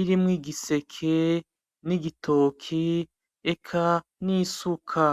irimwo igiserke kirimwo n'igitoke ,eka nisuka.